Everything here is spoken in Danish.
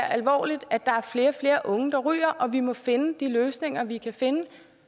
alvorligt at der er flere og flere unge der ryger og vi må finde de løsninger vi kan finde